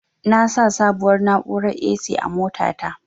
Na sa sabuwar na'urar "A.C" a mota ta